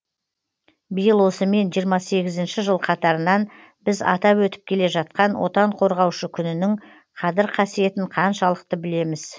биыл осымен жиырма сегізінші жыл қатарынан біз атап өтіп келе жатқан отан қорғаушы күнінің қадір қасиетін қаншалықты білеміз